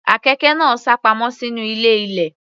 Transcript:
Àkekè náà sápamọ́ sínú ilé ilẹ̀.